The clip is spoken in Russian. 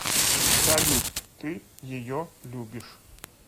салют ты ее любишь